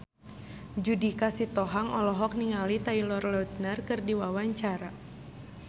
Judika Sitohang olohok ningali Taylor Lautner keur diwawancara